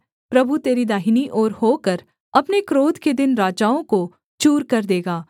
प्रभु तेरी दाहिनी ओर होकर अपने क्रोध के दिन राजाओं को चूर कर देगा